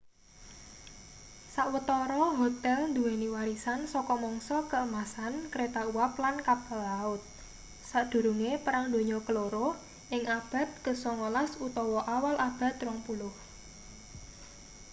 sawetara hotel duweni warisan saka mangsa keemasan kereta uap lan kapal laut sakdurunge perang donya keloro ing abad ke 19 utawa awal abad ke 20